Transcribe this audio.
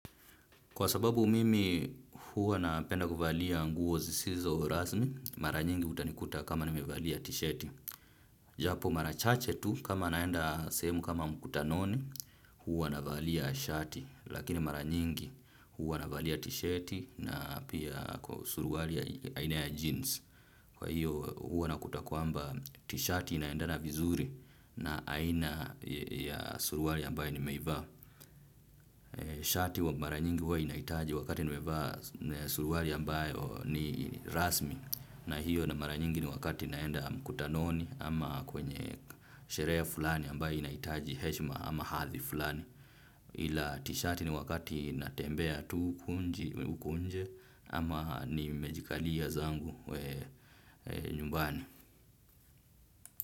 Kwa sababu mimi huwa napenda kuvalia nguo zisizo rasmi, mara nyingi utanikuta kama nimevalia tisheti. Japo mara chache tu kama naenda sehemu kama mkutanoni, huwa navalia shati. Lakini mara nyingi huwa navalia tisheti na pia suruali ya aina ya jeans. Kwa hiyo huwa nakuta kwamba tishati inaendana vizuri na aina ya suruali ambaye nimeivaa. Shati wa mara nyingi wa inaitaji wakati niwevaa suruari ambayo ni rasmi. Na hiyo na mara nyingi ni wakati naenda mkutanoni ama kwenye sherehe fulani ambayo inaitaji heshima ama hathi fulani ila tishati ni wakati natembea tu huku nje ama ni mejikalia zangu we nyumbani.